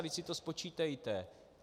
Vždyť si to spočítejte.